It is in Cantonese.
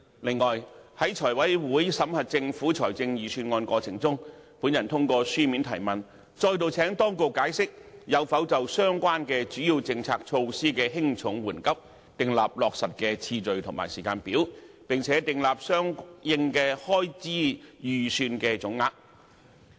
此外，在財務委員會審核政府財政預算案的過程中，我透過書面質詢，再度請當局解釋有否就相關主要政策措施的輕重緩急，訂立落實的次序及時間表，並訂立相應的開支預算總額。